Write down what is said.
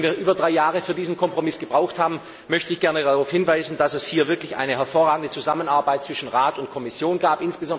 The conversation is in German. Nachdem wir über drei Jahre für diesen Kompromiss gebraucht haben, möchte ich gerne darauf hinweisen, dass es hier wirklich eine hervorragende Zusammenarbeit zwischen Rat und Kommission gab.